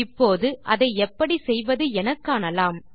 இப்போது அதை எப்படி செய்வதென காணலாம்